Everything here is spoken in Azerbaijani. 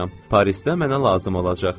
Parisdə mənə lazım olacaq.